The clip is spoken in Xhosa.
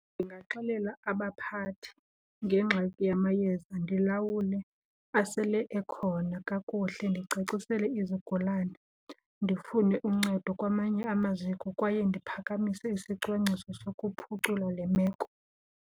Ndingaxelela abaphathi ngengxaki yamayeza, ndilawule asele ekhona kakuhle. Ndicacisele izigulana, ndifune uncedo kwamanye amaziko kwaye ndiphakamise isicwangciso sokuphucula le meko.